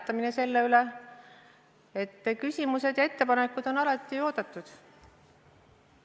Ja kuidas te seletate seda, et te kinnitasite korduvalt komisjonis, et tegelikult mõjuvaid põhjusi selle komisjoni suhtes kriitiline olla ei ole?